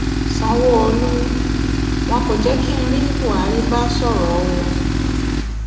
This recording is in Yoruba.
sanwóolú wọn kò jẹ kí n rí buhari bá sọrọ o